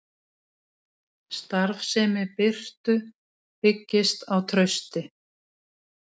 Starfsemi Bitru byggist á trausti